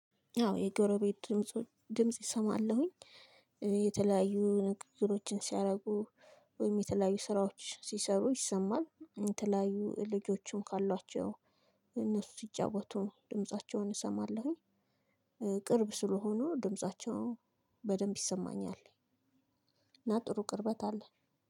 አዎ የጎረቤት ድምጽ ሰማለሁኝ። የተለያዩ ንግግሮችን ሲያደርጉ ወይም የተለያዩ ስራዎች ሲሰሩ ይሰማል። የተለያዩ ልጆችም ካሏቸው እነሱ ሲጫወቱ ድምፃቸውን እሰማለሁኝ። ቅርብ ስለሆኑ ድምፃቸው በደንብ ይሰማኛል። እና ጥሩ ቅርበት አለን